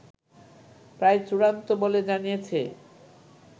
প্রায় চূড়ান্ত বলে জানিয়েছে